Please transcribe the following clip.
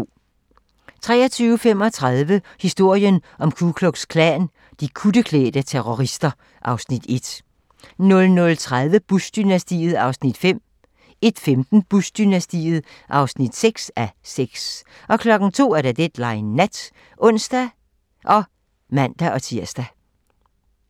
23:35: Historien om Ku Klux Klan: De kutteklædte terrorister (Afs. 1) 00:30: Bush-dynastiet (5:6) 01:15: Bush-dynastiet (6:6) 02:00: Deadline Nat (ons og man-tir)